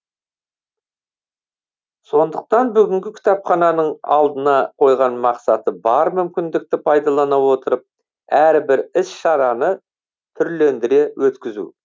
сондықтан бүгінгі кітапхананың алдына қойған мақсаты бар мүмкіндікті пайдалана отырып әрбір іс шараны түрлендіре өткізу